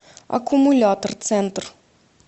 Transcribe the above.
аккумулятор центр